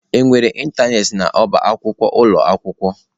Enwere ịntanetị n'ọba akwụkwọ ụlọ akwụkwọ?